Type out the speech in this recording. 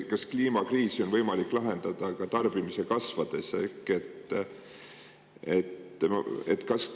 Kas kliimakriisi on võimalik lahendada ka siis, kui tarbimine kasvab?